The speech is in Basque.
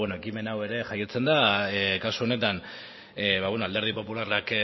ekimen hau ere jaiotzen da kasu honetan alderdi popularrak